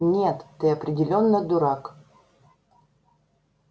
нет ты определённо дурак